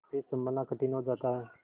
फिर सँभलना कठिन हो जाता है